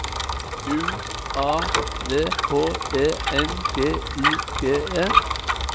U A V H E N G I G E